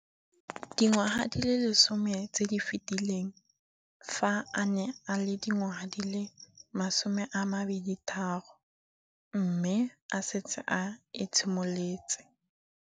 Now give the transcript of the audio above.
Dingwaga di le 10 tse di fetileng, fa a ne a le dingwaga di le 23 mme a setse a itshimoletse